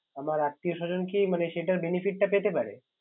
আমার আত্মীয় স্বজন কি মানে সেটার Benefit টা পেতে পারে